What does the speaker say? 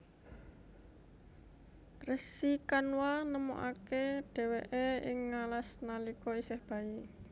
Resi Kanwa nemokaké dhèwèké ing ngalas nalika isih bayi